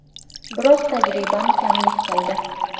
Biroz tajribam kamlik qildi.